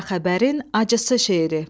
Qara xəbərin acısı şeiri.